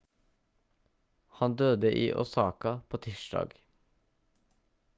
han døde i osaka på tirsdag